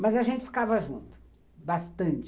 Mas a gente ficava junto, bastante.